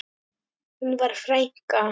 Hún var frænka.